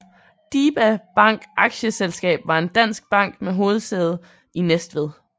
DiBa Bank Aktieselskab var en dansk bank med hovedsæde i Næstved